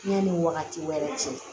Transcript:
Yanni wagati wɛrɛ cɛ